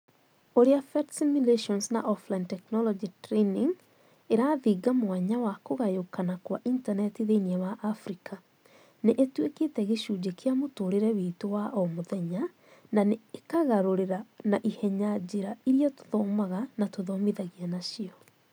Ūrĩa PhET Simulations na Offline Technology Training ĩrathinga mwanya wa kũgayũkana kwa Intaneti thĩinĩ wa Afrika nĩ ĩtuĩkĩte gĩcunjĩ kĩa mũtũũrĩre witũ wa o mũthenya na nĩ ĩkagarũra na ihenya njĩra iria tuthomaga na tũthomithanagia nacio".